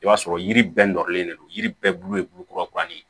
I b'a sɔrɔ yiri bɛɛ nɔrɔlen de don yiri bɛɛ bulu ye bulu kura kura ye